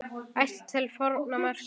Ætt til forna merkir hér.